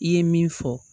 I ye min fɔ